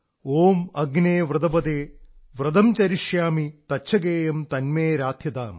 ഓം അഗ്നേ വ്രതപതേ വ്രതം ചരിഷ്യാമി തച്ഛകേയം തന്മേ രാധ്യതാം